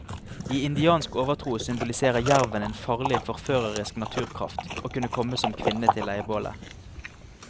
I indiansk overtro symboliserer jerven en farlig, forførerisk naturkraft og kunne komme som kvinne til leirbålet.